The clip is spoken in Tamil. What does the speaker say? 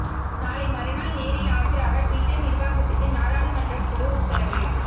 நாளை மறுநாள் நேரில் ஆஜராக டிவிட்டர் நிர்வாகத்துக்கு நாடாளுமன்ற குழு உத்தரவு